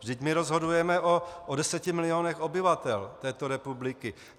Vždyť my rozhodujeme o deseti milionech obyvatel této republiky.